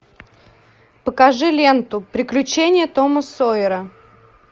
покажи ленту приключения тома сойера